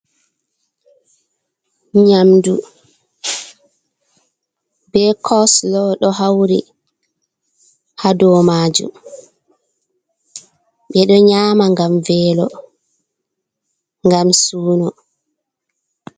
Nyamdu be cosilo ɗo hauri ha domajum, ɓe ɗo nyama gam velo, gam suno.